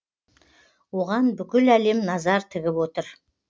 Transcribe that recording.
оған бүкіл әлем назар тігіп отыр